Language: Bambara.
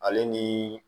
Ale ni